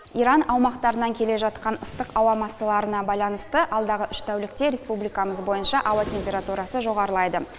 иран аумақтарынан келе жатқан ыстық ауа массаларына байланысты алдағы үш тәулікте республикамыз бойынша ауа температурасы жоғарылайды